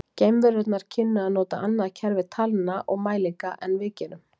Geimverurnar kynnu að nota annað kerfi talna og mælinga en við gerum.